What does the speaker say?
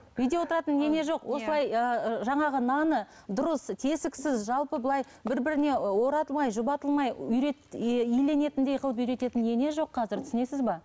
үйде отыратын ене жоқ осылай ыыы жаңағы наны дұрыс тесіксіз жалпы былай бір біріне оратылмай жұбатылмай үйрет иленетіндей қылып үйрететін ене жоқ қазір түсінесіз бе